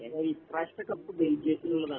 എടാ ഈ പ്രവശ്യത്തെ കപ്പ് ബെൽജിയത്തിനുള്ളതാണ്